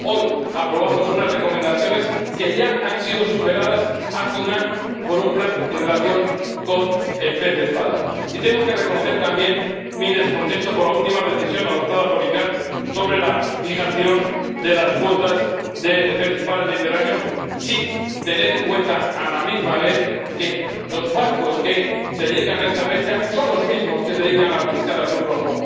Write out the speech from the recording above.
Hoy aprobamos unas recomendaciones que ya han sido superadas hace un año por un plan en relación con el pez espada. Y tengo que reconocer también mi descontento por la última decisión adoptada por la CICAA sobre la fijación de las cuotas de pez espada en el Mediterráneo sin tener en cuenta, a la vez, que los barcos que se dedican a esta pesca son los mismos que se dedican a la pesca del atún rojo.